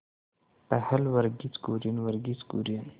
पहल वर्गीज कुरियन वर्गीज कुरियन